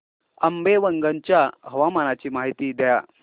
आंबेवंगन च्या हवामानाची माहिती द्या